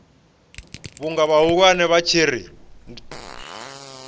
vhunga vhahulwane vha tshi ri